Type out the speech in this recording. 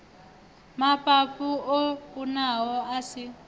mafhafhu o kunaho a si